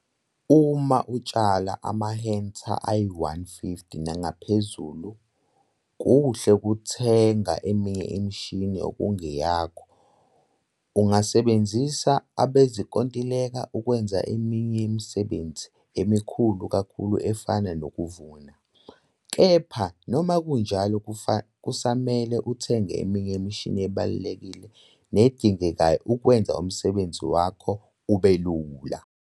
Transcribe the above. Uma utshala amahektha ayi-150 nangaphezulu kuhle ukuthenga eminye imishini okungeyakho. Ungasebenzisa abezinkontileka ukwenza eminye yemisebenzi emikhulu kakhulu efana nokuvuna. Kepha noma kunjalo kusamele uthenge eminye yemishini ebalulekile nedingekayo ukwenza umsebenzi wakho ube lula.